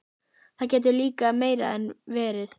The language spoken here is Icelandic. Það getur líka meira en verið.